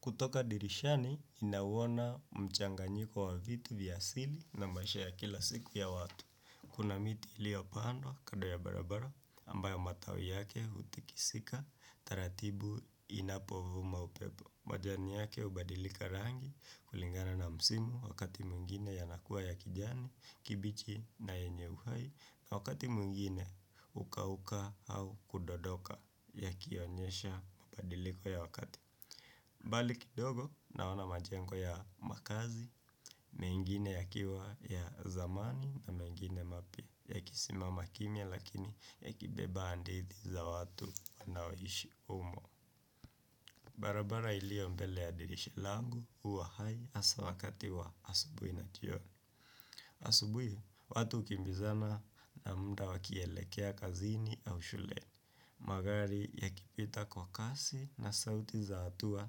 Kutoka dirishani ninauona mchanganyiko wa vitu vya asili na maisha ya kila siku ya watu. Kuna miti ilio pandwa kando ya barabara ambayo matawi yake hutikisika taratibu inapo vuma upepo. Majani yake hubadilika rangi kulingana na msimu wakati mwngine yanakua ya kijani kibichi na yenye uhai na wakati mwingine hukauka au kudondoka yakionyesha mabadiliko ya wakati. Mbali kidogo naona majengo ya makazi, mengine yakiwa ya zamani na mengine mapya, yakisimama kimya lakini yakibeba hadidhi za watu wanaoishi humo. Barabara ilio mbele ya dirisha langu huwa hai hasaa wakati wa asubuhi na jioni. Asubuhi, watu hukimbizana na muda wakielekea kazini au shuleni. Magari yakipita kwa kazi na sauti za hatua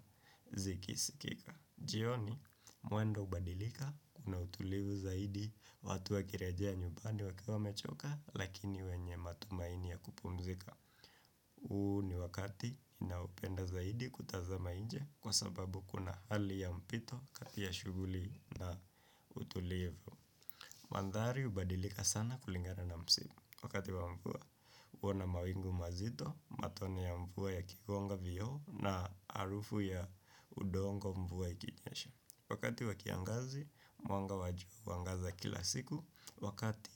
zikisikika. Jioni mwendo hubadilika kuna utulivu zaidi watu wakirejea nyumbani wakiwa wamechoka lakini wenye matumaini ya kupumzika. Huu ni wakati ninaupenda zaidi kutazama nje kwa sababu kuna hali ya mpito kati ya shughuli na utulivu. Mandhari hubadilika sana kulingana na msimu. Wakati wa mvua huwa na mawingu mazito. Matone ya mvua yakigonga vioo na harufu ya udongo mvua ikinyesha wakati wa kiangazi mwanga wa jua huangaza kila siku. Wakati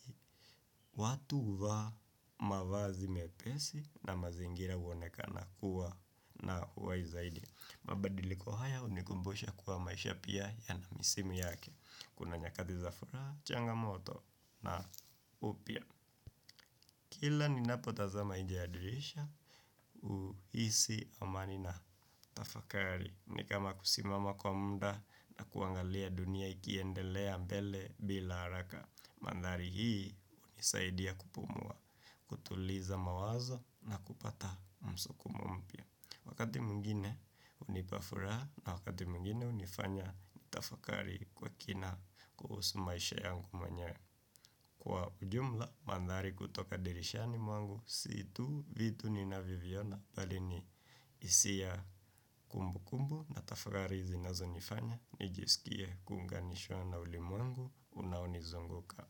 watu huvaa mavazi mepesi na mazingira huoneka kuwa na huwai zaidi. Mabadiliko haya hunikumbusha kuwa maisha pia yana msimu yake. Kuna nyakati za furaha. Changamoto na Upya. Kila ninapo tazama nje ya dirisha uhisi amani na tafakari nikama kusimama kwa muda. Na kuangalia dunia ikiendelea mbele bila haraka. Mandhari hii hunisaidia kupumua. Kutuliza mawazo na kupata msukumo mpya wakati mwingine hunipa furaha. Na wakati mwingine hunifanya nitafakari. Kwa kina kuhusu maisha yangu mwenyewe. Kwa ujumla, mandhari kutoka dirishani mwangu, sii tu vitu ninavyo viona, bali ni hisia kumbukumbu na tafakari zinazonifanya, nijisikie kuunganishwa na ulimwengu, unao nizunguka.